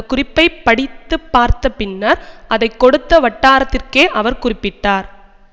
குறிப்பை படித்துப்பார்த்த பின்னர் அதை கொடுத்த வட்டாரத்திற்கே அவர் குறிப்பிட்டார்